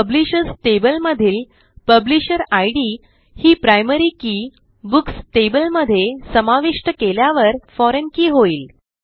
publishers table मधील publisher id ही primary key books table मध्ये समाविष्ट केल्यावर फोरिग्न के होईल